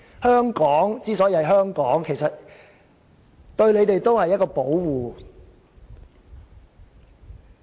香港之所以是香港，對他們其實也是一種保護。